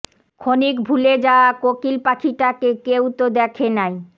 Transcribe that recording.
ক্ষণিক ভুলে যাওয়া কোকিল পাখিটাকে কেউ তো দেখে নাই